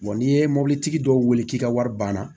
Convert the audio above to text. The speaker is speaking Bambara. n'i ye mɔbilitigi dɔw wele k'i ka wari banna